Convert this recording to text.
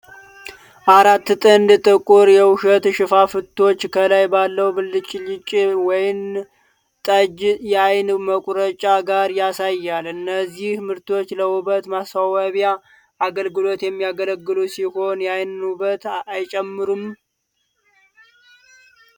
አራት ጥንድ ጥቁር የውሸት ሽፋሽፍቶች ከላይ ባለው ብልጭልጭ ወይን ጠጅ የአይን መቁረጫ ጋር ያሳያል፤ እነዚህ ምርቶች ለውበት ማስዋቢያ አገልግሎት የሚያገለግሉ ሲሆን የአይንን ውበት አይጨምሩም?